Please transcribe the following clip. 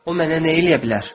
o mənə nə eləyə bilər?